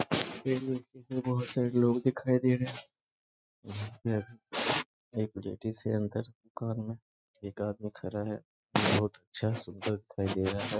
में बहुत सारे लोग दिखाई दे रहे हैं इधर एक लेडीज है। अंदर दुकान में एक आदमी खड़ा है बहुत अच्छा सुविधा दिखाई दे रहा है।